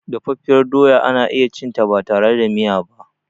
Dafaffiyar doya ana iyacinta batare da miya ba.